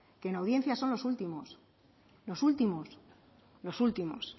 que en audiencia son los últimos los últimos los últimos